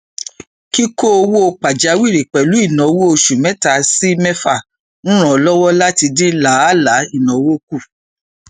kíkó owó pajawìrì pẹlú ináwó oṣù mẹta sí mẹfà ń ràn lọwọ láti dín làálàá ináwó kù